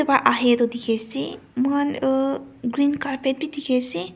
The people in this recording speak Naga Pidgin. pra ahae toh dikhiase mohan green carpet bi dikhaiase.